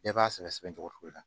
Bɛɛ b'a sɛbɛ sɛbɛ cogo la